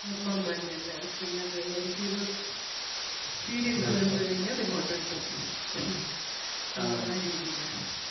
അമ്മമ്മ തന്നെ എല്ലാട എല്ലാം കൈകാര്യം ചെയ്തോളും. serial തീർന്നു കഴിഞ്ഞാ remote കിട്ടും. ആ രീതിയിലാ.